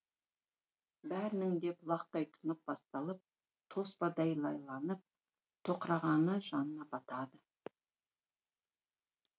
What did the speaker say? бәрінің де бұлақтай тұнып басталып тоспадай лайланып тоқырағаны жанына батады